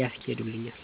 ያስኬዱልኛል።